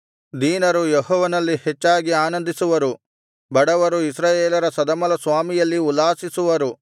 ದೀನರು ಯೆಹೋವನಲ್ಲಿ ಹೆಚ್ಚಾಗಿ ಆನಂದಿಸುವರು ಬಡವರು ಇಸ್ರಾಯೇಲರ ಸದಮಲಸ್ವಾಮಿಯಲ್ಲಿ ಉಲ್ಲಾಸಿಸುವರು